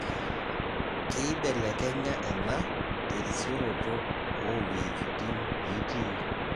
Keibelekenya ena terisioroto oowejitin nitii.